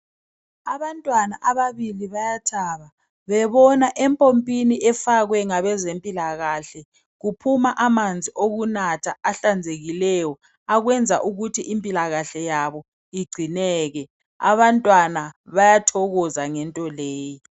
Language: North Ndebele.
Abantwana ababili bayathaba bebona empompini efakwe ngabe zempilakahle ku phuma amanzi okunatha ahlanzekileyo akwenza ukuthi impilakahle yabo igcineke .Abantwana bayathokoza ngento leyo.